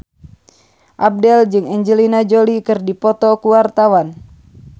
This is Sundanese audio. Abdel jeung Angelina Jolie keur dipoto ku wartawan